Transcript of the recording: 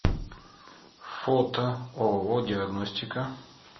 фото ооо диагностика